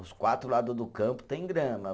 Os quatro lado do campo tem grama.